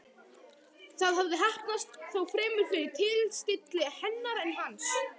Það hafði heppnast, þó fremur fyrir tilstilli hennar en hans.